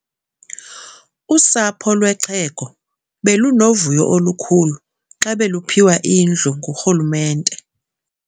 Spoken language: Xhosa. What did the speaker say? Usapho lwexhego belunovuyo olukhulu xa beluphiwa indlu ngurhulumente.